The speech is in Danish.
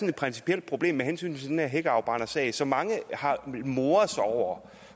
et principielt problem med hensyn til den der hækafbrændersag som mange har moret sig over